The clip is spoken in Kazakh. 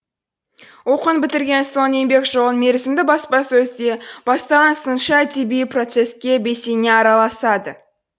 оқуын бітірген соң еңбек жолын мерзімді баспасөзде бастаған сыншы әдеби процеске белсене араласады